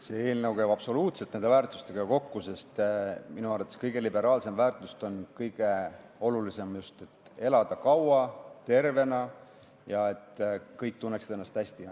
See eelnõu käib absoluutselt nende väärtustega kokku, sest minu arvates on kõige liberaalsem ja kõige olulisem väärtus just see, et saaks elada kaua ja tervena ning et kõik tunneksid ennast hästi.